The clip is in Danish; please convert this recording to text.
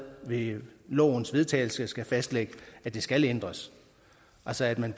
ved lovens vedtagelse skal fastlægge at det skal ændres altså at man